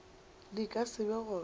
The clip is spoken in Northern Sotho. di ka se be gona